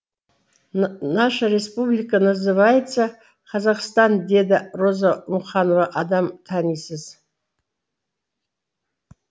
наша республика называется казахстан деді роза мұқанова адам танисыз